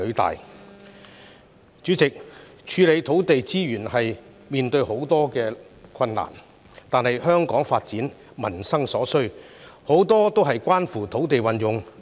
代理主席，處理土地資源會面對很多困難，但香港的發展及民生所需，處處都與土地運用有關。